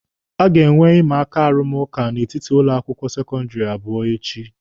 A ga-enwe imaaka arụmụka n'etiti ụlọ akwụkwọ sekọndịrị abụọ echi.